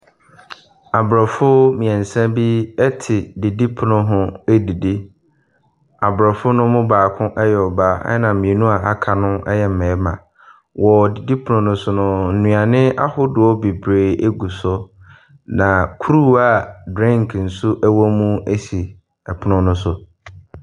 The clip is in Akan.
Abrɔfo mmiɛnsa bi te didipono ho redidi. Abrɔfo no mu baako yɛ ɔbaa, na mmienu a aka no yɛ mmarima. Wɔ didipono no so no, nnuane ahodoɔ bebree gu so. Na kuruwa a drink nso wɔ mu esi ɛpono no so.